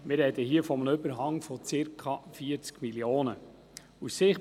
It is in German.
Wir sprechen hier von einem Überhang von circa 40 Mio. Franken.